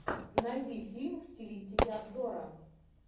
найди фильм в стилистике обзора